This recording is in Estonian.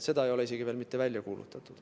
Seda ei ole isegi veel mitte välja kuulutatud.